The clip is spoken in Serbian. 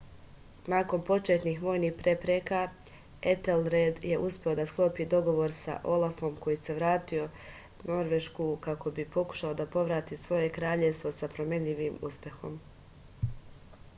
nakon početnih vojnih prepreka etelred je uspeo da sklopi dogovor sa olafom koji se vratio norvešku kako bi pokušao da povrati svoje kraljevstvo sa promenljivim uspehom